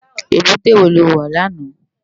Ébùté wó ló wá làná?